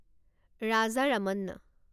Raja Ramanna